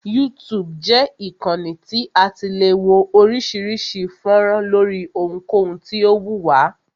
YouTube jẹ́ ìkànnì tí a ti le wo oríṣiríṣi fọ́nrán lóri ohunkohun tí o wù wá.